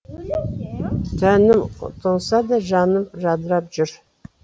тәнім тоңса да жаным жадырап жүр